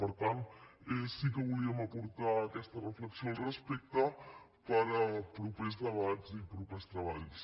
per tant sí que volíem aportar aquesta reflexió al respecte per a propers debats i propers treballs